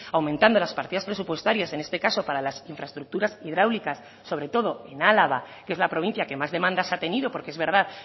aumentando las partidas presupuestarias en este caso para las infraestructuras hidráulicas sobre todo en álava que es la provincia que más demandas ha tenido porque es verdad